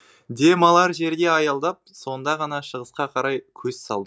дем алар жерге аялдап сонда ғана шығысқа қарай көз салдық